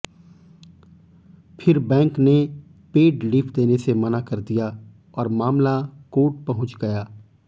फिर बैंक ने paid leave देने से मना कर दिया और मामला कोर्ट पहुंच गया